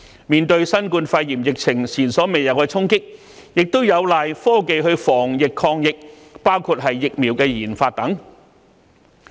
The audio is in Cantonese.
面對新冠肺炎疫情前所未有的衝擊，我們有賴科技防疫抗疫，包括疫苗的研發。